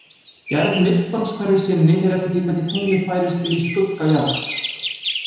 Gerð myrkvans hverju sinni fer eftir því hvernig tunglið færist inn í skugga jarðar.